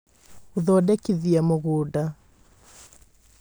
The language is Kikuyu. Gũthondekithia Mũgũnda